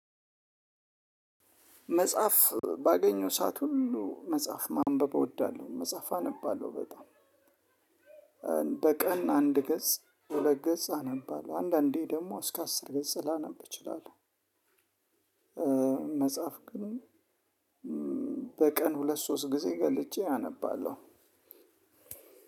መጽሐፍ ባገኘው ሰዓት ሁሉ መጽሐፍ ማንበብ እወዳለሁ መጽሐፍ አነባለሁ በጣም በቀን አንድ ገጽ ሁለት ገጽ አነባለሁ አንዳንዴ ደግሞ እስከ አስር ገጽ ላነብ እችላለሁ። መጽሐፍ ግን በቀን ሁለት ሶስት ጊዜ ገልጬ አነባለሁ።